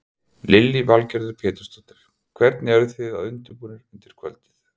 Lillý Valgerður Pétursdóttir: Hvernig eruð þið undirbúnir undir kvöldið?